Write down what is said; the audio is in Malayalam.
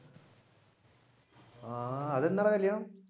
ആഹ് അതെന്നാടാ കല്യാണം?